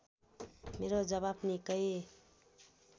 मेरो जवाफ निकै